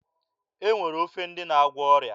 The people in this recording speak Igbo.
E nwere ofe ndị na-agwọ ọrịa.